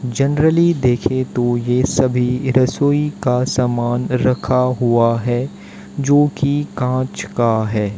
Generally देखे तो ये सभी रसोई का सामान रखा हुआ है जो की कांच का है।